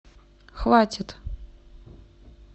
хватит